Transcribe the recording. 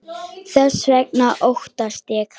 Þess vegna óttast ég.